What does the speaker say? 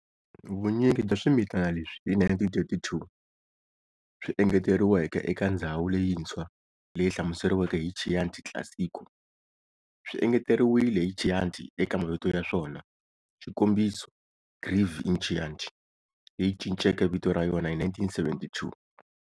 Vunyingi bya swimitana leswi hi 1932 swi engeteriweke eka ndzhawu leyintshwa leyi hlamuseriweke ya Chianti Classico swi engeteriwile"hi Chianti" eka mavito ya swona, xikombiso Greve in Chianti, leyi cinceke vito ra yona hi 1972.